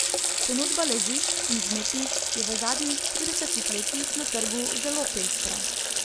Ponudba ležišč in vzmetnic je v zadnjih tridesetih letih na trgu zelo pestra.